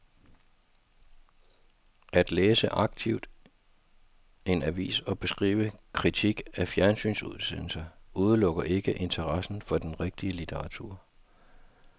At læse aktivt en avis og beskrive kritisk en fjernsynsudsendelse udelukker ikke interessen for den rigtige litteratur.